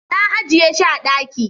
na ajiye shi a daki